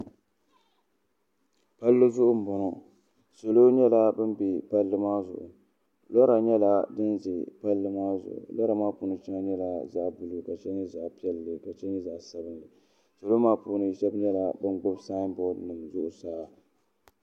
palli zuɣu m-bɔŋɔ salo nyɛla bɛ be palli maa zuɣu lora nyɛla din ʒe palli maa zuɣu lora maa puuni shɛŋa nyɛla zaɣ' buluu ka shɛŋa nyɛ zaɣ' piɛlli ka shɛŋa nyɛ zaɣ' sabinli salo maa puuni shɛba nyɛla ban gbubi saamborinima zuɣusaa